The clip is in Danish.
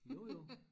Jo jo